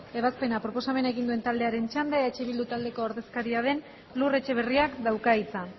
ebazpena proposamena egin duen taldearen txanda eh bildu taldeko ordezkaria den lur etxeberriak dauka hitza